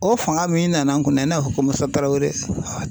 O fanga min nana an kunna, i n'a fɔ ko Musa Tarawele.